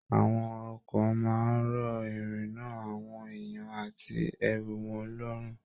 Àwọn ọkọ máa n rọ irinna àwọn èèyàn àti ẹrù wọn lọrùn.